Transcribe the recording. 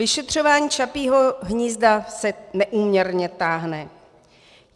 Vyšetřování Čapího hnízda se neúměrně táhne.